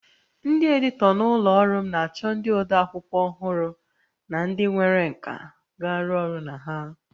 Ndị editọ na ụlọ ọrụ m na-achọ ndị ode akwụkwọ ọhụrụ na ndị nwere nkà ga-arụ ọrụ na ha